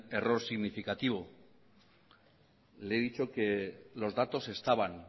error significativo le he dicho que los datos estaban